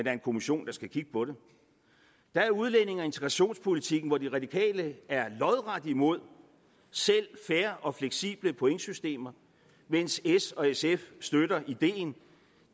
er en kommission der skal kigge på det der er udlændinge og integrationspolitikken hvor de radikale er lodret imod selv fair og fleksible pointsystemer mens s og sf støtter ideen